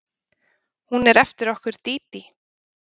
Hún er eftir okkur Dídí.